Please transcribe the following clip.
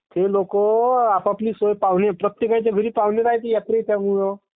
ते लोक आपआपली सोया पाय प्रत्येकाचा घरी पाहुणे रायते यात्रेचा वेळेवर.